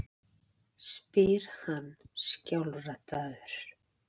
spyr hann skjálfraddaður.